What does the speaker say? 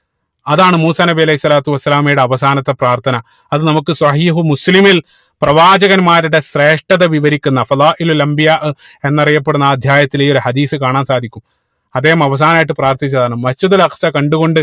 അതാണ് മൂസാ നബി അലൈഹി സ്വലാത്തു വസ്സലാമയുടെ അവസാനത്തെ പ്രാർത്ഥന അത് നമുക്ക് സ്വഹീഹുൽ മുസ്ലിമിൽ പ്രവാചകന്മാരുടെ സ്രേഷ്ഠത വിവരിക്കുന്ന എന്നറിയപ്പെടുന്ന ആ അധ്യായത്തിൽ ഈ ഒരു ഹദീസ് കാണാൻ സാധിക്കും അദ്ദേഹം അവസമായിട്ട് പ്രാർത്ഥിച്ചത് അതാണ് Masjid ഉൽ അക്സ കണ്ടുകൊണ്ട്